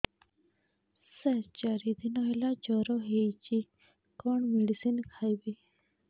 ସାର ଚାରି ଦିନ ହେଲା ଜ୍ଵର ହେଇଚି କଣ ମେଡିସିନ ଖାଇବି